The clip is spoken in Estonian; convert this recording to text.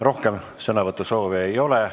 Rohkem sõnavõtusoove ei ole.